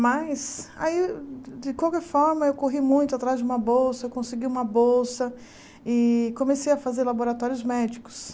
Mas, de qualquer forma, eu corri muito atrás de uma bolsa, consegui uma bolsa e comecei a fazer laboratórios médicos.